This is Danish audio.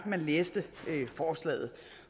man læser forslaget